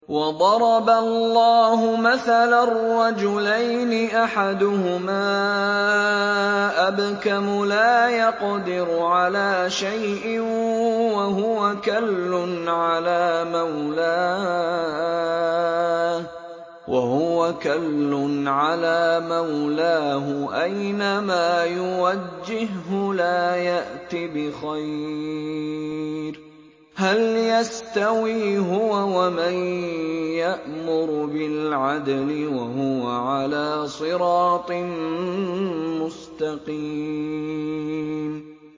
وَضَرَبَ اللَّهُ مَثَلًا رَّجُلَيْنِ أَحَدُهُمَا أَبْكَمُ لَا يَقْدِرُ عَلَىٰ شَيْءٍ وَهُوَ كَلٌّ عَلَىٰ مَوْلَاهُ أَيْنَمَا يُوَجِّههُّ لَا يَأْتِ بِخَيْرٍ ۖ هَلْ يَسْتَوِي هُوَ وَمَن يَأْمُرُ بِالْعَدْلِ ۙ وَهُوَ عَلَىٰ صِرَاطٍ مُّسْتَقِيمٍ